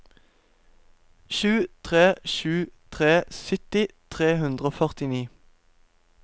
sju tre sju tre sytti tre hundre og førtini